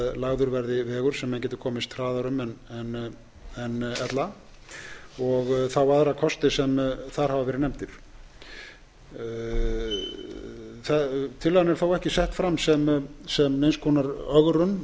lagður verði vegur sem menn geti komist hraðar um en ella og þá aðra kosti sem þar hafa verið nefndir tillagan er þó ekki sett fram sem neins konar ögrun af því